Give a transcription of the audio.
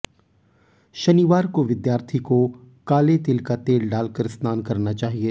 शनिवार को विद्यार्थी को काले तिल का तेल डालकर स्नान करना चाहिए